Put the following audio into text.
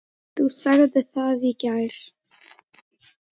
Þú sagðir það í gær.